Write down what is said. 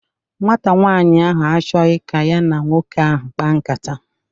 Nwata nwaanyị ahụ achọghọ ka ya na nwoke ahụ kpaa nkata